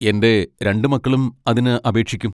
എന്റെ രണ്ട് മക്കളും അതിന് അപേക്ഷിക്കും.